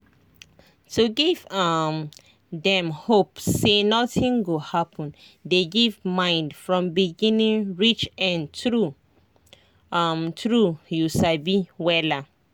to give um dem hope say nothing go happen dey give mind from beginning reach end true um true you sabi wella